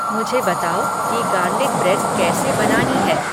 मुझे बताओ कि गार्लिक ब्रेड कैसे बनानी है